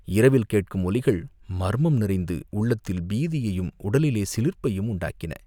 இரவில் கேட்கும் ஒலிகள் மர்மம் நிறைந்து உள்ளத்தில் பீதியையும் உடலிலே சிலிர்ப்பையும் உண்டாக்கின.